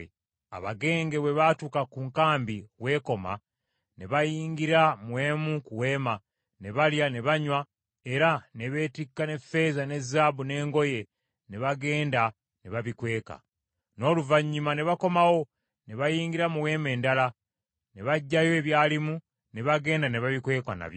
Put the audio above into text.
Abagenge bwe baatuuka ku nkambi w’ekoma, ne bayingira mu emu ku weema, ne balya ne banywa era ne beetikka n’effeeza ne zaabu n’engoye, ne bagenda ne babikweka. N’oluvannyuma ne bakomawo, ne bayingira mu weema endala, ne baggyayo ebyalimu, ne bagenda ne babikweka nabyo.